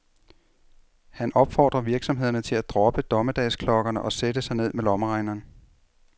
Han opfordrer virksomhederne til at droppe dommedagsklokkerne og sætte sig ned med lommeregneren.